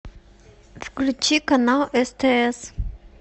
включи канал стс